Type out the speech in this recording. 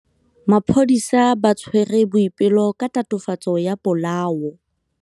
Maphodisa a tshwere Boipelo ka tatofatsô ya polaô.